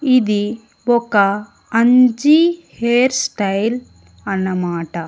ఇది ఒక Anji hair style అన్నమాట.